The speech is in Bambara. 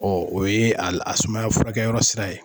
Ɔ o ye a sumaya furakɛyɔrɔ sira ye